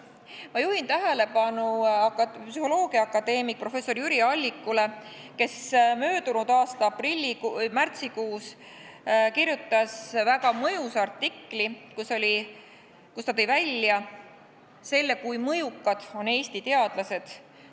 Ma juhin tähelepanu psühholoogiaakadeemik professor Jüri Allikule, kes möödunud aasta märtsikuus kirjutas väga mõjusa artikli, kus ta tõi välja, kui mõjukad on Eesti teadlased.